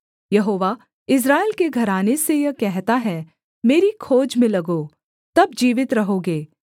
यहोवा Israel के घराने से यह कहता है मेरी खोज में लगो तब जीवित रहोगे